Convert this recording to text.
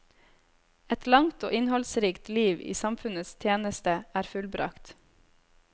Et langt og innholdsrikt liv i samfunnets tjeneste er fullbragt.